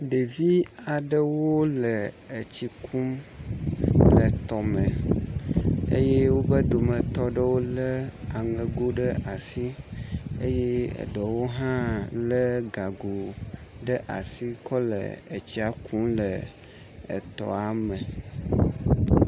Ɖevi wome ene aɖe bɔbɔ nɔ anyi ɖe tɔme ke wo dometɔ ame eve ƒe gago yi ke wokɔna tsia kum la nɔ ʋie, ame ɖeka tɔ le blu ke ame ɖeka do awu yi ke ƒe nɔnɔme enye aŋkpa ɖiɖi. Ɖeka hã do awu yi ke ƒe nɔnɔme enye blu eye wonye abɔ legbẽ.